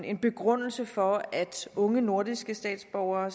en begrundelse for at unge nordiske statsborgere